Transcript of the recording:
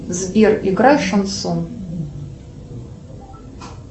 сбер играй шансон